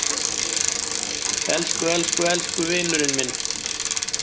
Elsku elsku elsku vinurinn minn.